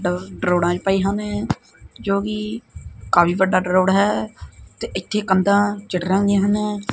ਰੋੜਾਂ ਵੀ ਪਏ ਹਨ ਜੋ ਕਿ ਕਾਫੀ ਵੱਡਾ ਰੋਡ ਹੈ ਤੇ ਕੰਧਾਂ ਚਿੱਟੇ ਰੰਗ ਦੀਆਂ ਹਨ।